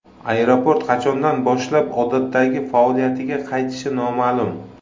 Aeroport qachondan boshlab odatdagi faoliyatiga qaytishi noma’lum.